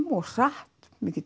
og hratt mikið